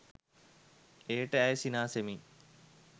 එයට ඇය සිනාසෙමින්